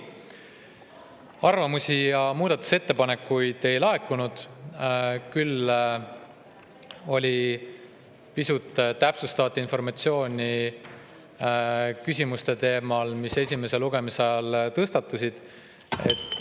Arvamusi ja muudatusettepanekuid ei laekunud, küll pisut täpsustavat informatsiooni küsimuste kohta, mis esimese lugemise ajal tõstatusid.